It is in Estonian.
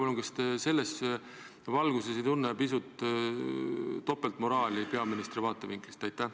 Kas te selles valguses ei tunne, et on pisut topeltmoraali peaministri vaatevinklist?